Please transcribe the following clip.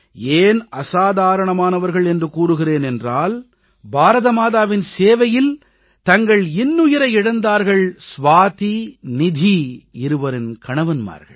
ஏன் அசாதாரணமானவர்கள் என்று கூறுகிறேன் என்றால் பாரதமாதாவின் சேவையில் தங்கள் இன்னுயிரை இழந்தார்கள் சுவாதி நிதி இருவரின் கணவர்கள்